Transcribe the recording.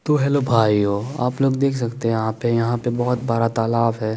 तो हेल्लो भाइयो आप लोग देख सकते है यहा पे यहा पे बोहोत बड़ा तालाब है।